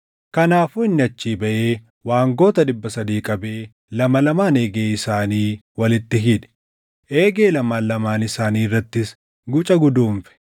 Kanaafuu inni achii baʼee waangota dhibba sadii qabee lama lamaan eegee isaanii walitti hidhe. Eegee lamaan lamaan isaanii irrattis guca guduunfe;